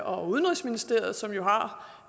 og udenrigsministeriet som jo